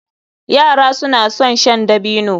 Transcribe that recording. Yara suna son shan dabino.